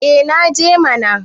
eh naje mana